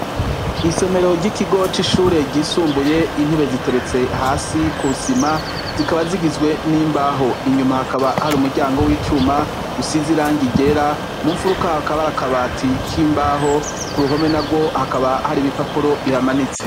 Isomero ry'ikigoci ishureryisumbuye intebe ziteretse hasi kusima zikaba zigizwe n'imbaho inyuma hakaba hari umuryango w'icuma gusiziranga igera mumfuruka ho akabarakabati k'imbaho ku ruhome na rwo hakaba hari ibi papuro ihamanitse.